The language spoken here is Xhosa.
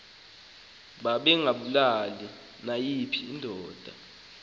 babengabulali nayiphi indoda